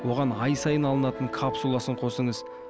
оған ай сайын алынатын капсуласын қосыңыз